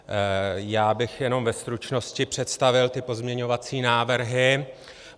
Já bych jenom ve stručnosti představil ty pozměňovací návrhy.